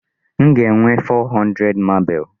M ga-enwe 400 marble.